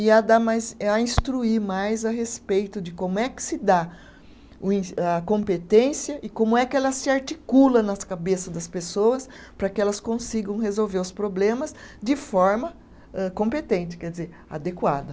e a dar mais, e a instruir mais a respeito de como é que se dá o en,a competência e como é que ela se articula nas cabeças das pessoas para que elas consigam resolver os problemas de forma âh, competente, quer dizer, adequada.